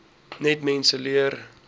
net mense leer